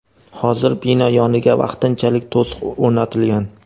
Hozir bino yoniga vaqtinchalik to‘siq o‘rnatilgan.